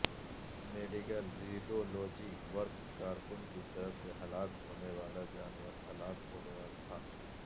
medical radiology work کارکن کی طرف سے ہلاک ہونے والا جانور ہلاک ہو گیا تھا